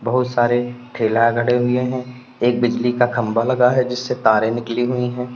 बोहोत सारे ठेला खड़े हुए हैं। एक बिजली का खम्भा लगा है जिससे तारें निकली हुई हैं।